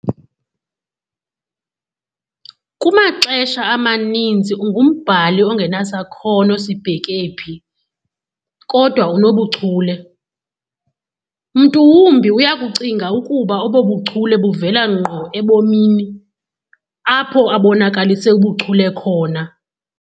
Kumaxesha amaninzi ungumbhali ongenasakhono sibheke phi, kodwa unobuchule, mntu wumbi uyakucinga ukuba obo buchule buvela ngqo ebomini, apho abonakalise ubuchule khona.